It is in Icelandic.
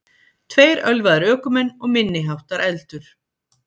Tveir ölvaðir ökumenn og minniháttar eldur